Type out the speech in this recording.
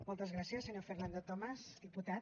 moltes gràcies senyor fernando tomás diputat